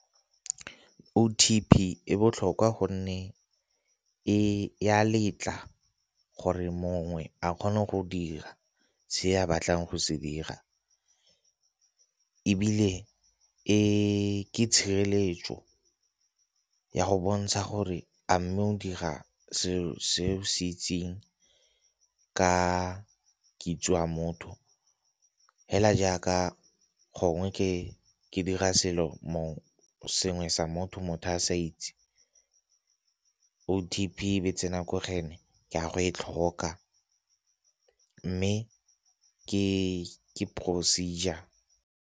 O_P_T e botlhokwa gonne e, e ya letla gore mongwe a kgone go dira se ya batlang go se dira. Ebile e ke tshireletso ya go bontsha gore a mme o dira seo se itseng ka kitso ya motho, hela jaaka gongwe ke dira selo moo sengwe sa motho motho a sa itse O_T_P be tsena ko go ene ka go e tlhoka mme ke procedure.